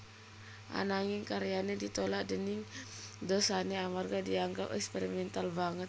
Ananging karyané ditolak déning dosené amarga dianggep eksperimental banget